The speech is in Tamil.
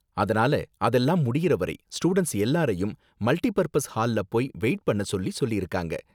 அதனால அதெல்லாம் முடியுற வரை ஸ்டூடண்ட்ஸ் எல்லாரையும் மல்டி பர்ப்பஸ் ஹால்ல போய் வெயிட் பண்ண சொல்லி சொல்லிருங்க.